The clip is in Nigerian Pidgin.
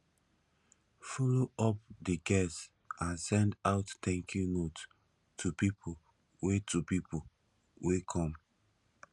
follow up di guests and send out thank you note to pipo wey to pipo wey come